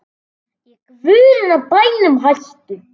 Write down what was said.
Í guðanna bænum hættu